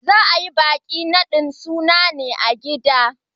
Za a yi bikin nadin sunan ne a gida.